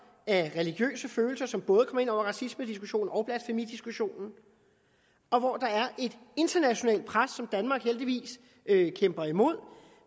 af religiøse følelser som både kommer ind over racismediskussionen og blasfemidiskussionen og hvor der er et internationalt pres som danmark heldigvis kæmper imod